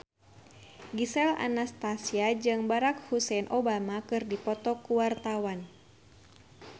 Gisel Anastasia jeung Barack Hussein Obama keur dipoto ku wartawan